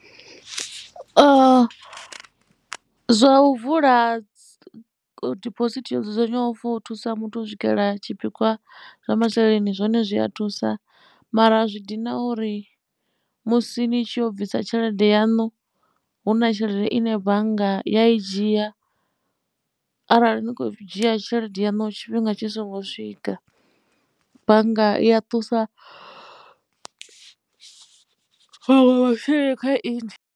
Zwa u vula diphosithi yo dzudzanywaho for u thusa muthu u swikela tshipikwa zwa masheleni zwone zwi a thusa mara zwi dina uri musi ni tshi yo bvisa tshelede yaṋu hu na tshelede ine bannga ya i dzhia arali ni khou dzhia tshelede yaṋu tshifhinga tshi songo swika bannga i ya ṱusa maṅwe maseleni kha inwi.